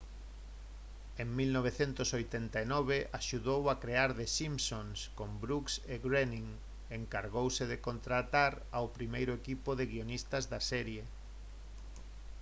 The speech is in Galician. en 1989 axudou a crear the simpsons con brooks e groening e encargouse de contratar ao primeiro equipo de guionistas da serie